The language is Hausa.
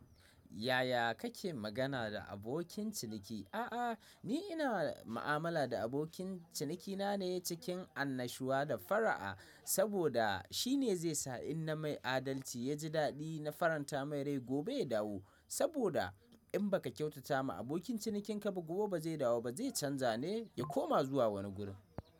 Yaya kake magana da abokin ciniki? A'a, ni ina ma'amala da abokin cinikina ne cikin annashuwa da fara'a, saboda shi ne zai sa in na mai adalci ya ji daɗi na faranta mai rai, gobe ya dawo. Saboda in ba ka kyautata ma abokin cinikin ka ba, gobe ba zai dawo ba, zai canja ne ya koma zuwa wani gurin.